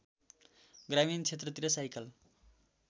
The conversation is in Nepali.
ग्रामीण क्षेत्रतिर साइकल